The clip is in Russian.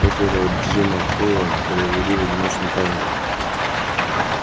после этого джима холла перевели в одиночную камеру